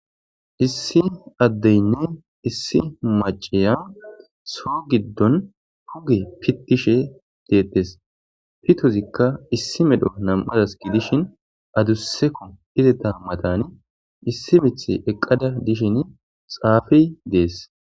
issi addeyinne issi maciya soo giddon huge pittishe deettes pitozikka issi medho nam7adas gidishin adusseko izeta matani issi mith eqqada dishin xaafi dees